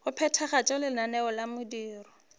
go phethagatša lenaneo la mediro